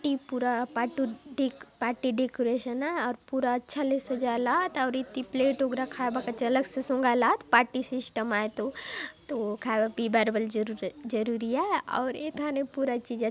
त्रिपुरा पाटु डिक party decoration आय और पूरा अच्छा ले सजायलात और इति प्लेट वगैरह खायबा काजे अलग ले सोंगायला आत पार्टी सिस्टम आए तो तो खायबार पियबार बले जरूर जरूरी आय और इथाने पूरा चीज अच्--